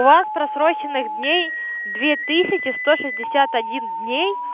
у вас просроченных дней две тысячи сто шестьдесят один дней